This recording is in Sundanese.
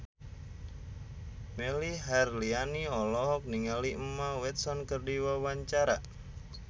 Melly Herlina olohok ningali Emma Watson keur diwawancara